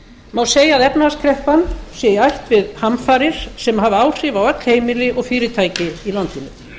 má segja að efnahagskreppan sé í ætt við hamfarir sem hafi áhrif á öll heimili og fyrirtæki í landinu